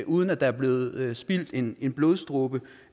uden at der er blevet spildt en blodsdråbe